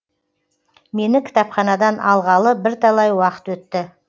мені кітапханадан алғалы бірталай уақыт өтті